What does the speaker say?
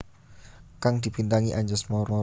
kang dibintangi Anjasmara